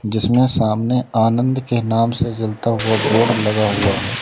जिसमें सामने आनंद के नाम से जलता हुआ बोर्ड लगा हुआ है।